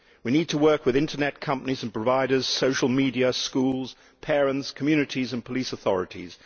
We need to work with internet companies and providers, social media, schools, parents, communities and police authorities.